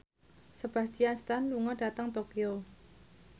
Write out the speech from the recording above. Sebastian Stan lunga dhateng Tokyo